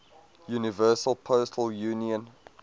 universal postal union